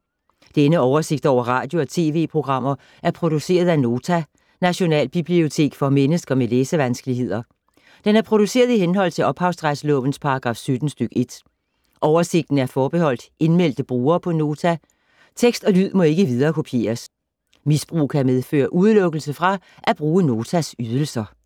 Denne oversigt over radio og TV-programmer er produceret af Nota, Nationalbibliotek for mennesker med læsevanskeligheder. Den er produceret i henhold til ophavsretslovens paragraf 17 stk. 1. Oversigten er forbeholdt indmeldte brugere på Nota. Tekst og lyd må ikke viderekopieres. Misbrug kan medføre udelukkelse fra at bruge Notas ydelser.